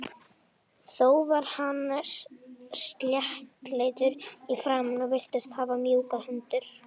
Þó var hann sléttleitur í framan og virtist hafa mjúkar hendur.